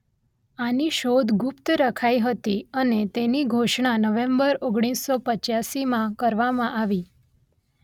આની શોધ ગુપ્ત રખાઈ હતી અને તેની ઘોષણા નવેંબર ઓગણીસસો પંચ્યાસી કરવામાં આવી